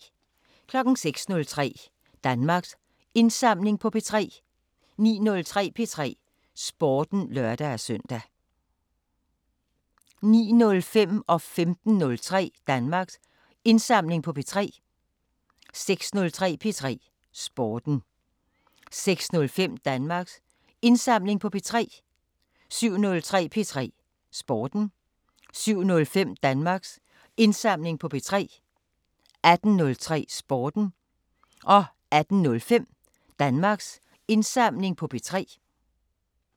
06:03: Danmarks Indsamling på P3 09:03: P3 Sporten (lør-søn) 09:05: Danmarks Indsamling på P3 15:03: Danmarks Indsamling på P3 16:03: P3 Sporten 16:05: Danmarks Indsamling på P3 17:03: P3 Sporten 17:05: Danmarks Indsamling på P3 18:03: P3 Sporten 18:05: Danmarks Indsamling på P3